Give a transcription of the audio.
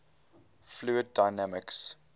fluid dynamics